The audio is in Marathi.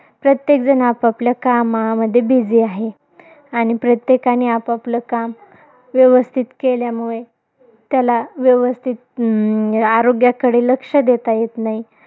प्रत्येकजण आपआपल्या कामामध्ये busy आहे. आणि प्रत्येकाने आपापलं काम, व्यवस्थित केल्यामुळे, त्याला व्यवस्थित अं आरोग्याकडे लक्ष देता येत नाही.